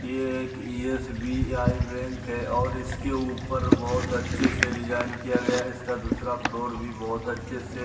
ये एक SBI. Bank है और इसके ऊपर बहुत अच्छे से डिज़ाइन किया गया है इसका दूसरा फ्लोर भी बहुत अच्छे से --